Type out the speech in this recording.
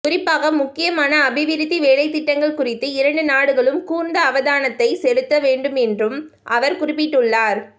குறிப்பாக முக்கியமான அபிவிருத்தி வேலைத்திட்டங்கள் குறித்து இரண்டு நாடுகளும் கூர்ந்த அவதானத்தை செலுத்த வேண்டும்என்றும் அவர் குறிப்பிட்டுள்ளார்